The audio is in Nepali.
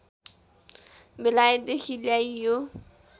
बेलायतदेखि ल्याइयो